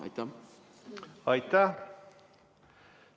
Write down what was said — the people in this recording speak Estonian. Aitäh!